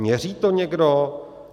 Měří to někdo?